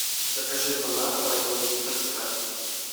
закажи бон аква один литр с газом